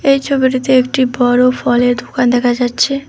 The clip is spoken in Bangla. এই ছবিটিতে একটি বড় ফলের দুকান দেখা যাচ্ছে।